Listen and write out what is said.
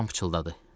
Loran pıçıltıladı.